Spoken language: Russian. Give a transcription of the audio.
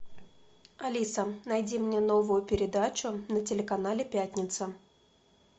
алиса найди мне новую передачу на телеканале пятница